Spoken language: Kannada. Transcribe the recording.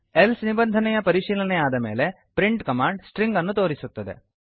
ಎಲ್ಸೆ ನಿಬಂಧನೆಯ ಪರಿಶೀಲನೆಯಾದ ಮೇಲೆ ಪ್ರಿಂಟ್ ಕಮಾಂಡ್ ಸ್ಟ್ರಿಂಗ್ ಅನ್ನು ತೋರಿಸುತ್ತದೆ